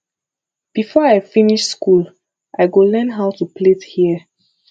before i finish skool i go learn how to plait hear